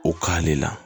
O ka ne la